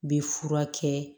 Bɛ fura kɛ